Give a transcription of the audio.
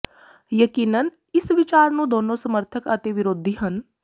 ਯਕੀਨਨ ਇਸ ਵਿਚਾਰ ਨੂੰ ਦੋਨੋ ਸਮਰਥਕ ਅਤੇ ਵਿਰੋਧੀ ਹਨ